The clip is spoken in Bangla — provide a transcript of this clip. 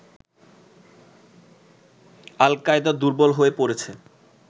আল কায়দা দুর্বল হয়ে পড়েছে